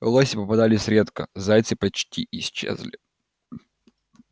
лоси попадались редко зайцы почти исчезли